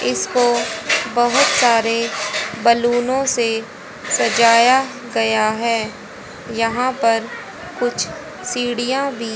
इसको बहोत सारे बैलून से सजाया गया हैं यहां पर कुछ सीढ़ियां भी--